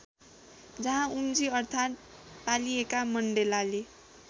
जहाँ उम्जी अर्थात पालिएका मण्डेलाले